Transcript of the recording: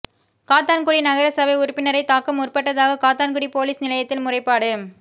காத்தான்குடி நகர சபை உறுப்பினரை தாக்க முற்பட்டதாக காத்தான்குடி பொலிஸ் நிலையத்தில் முறைப்பாடு